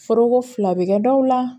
Foroko fila bɛ kɛ dɔw la